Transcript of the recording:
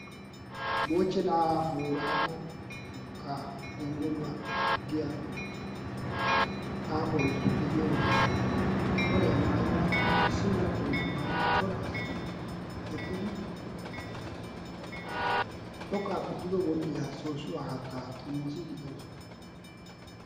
moochena boorago gongoluwa giya xaafoy diyo issi mala qoliya maayidi xoqaappe duge wodhiya soosuwa haatta xomoosiidi de'oosoana.